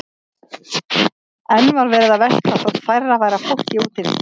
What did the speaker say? Enn var verið að versla þótt færra væri af fólki úti við.